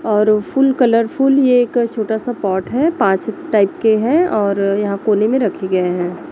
और full colourful ये एक छोटा सा पॉट है पांच टाइप के हैं और यहां कोने में रखे गए हैं।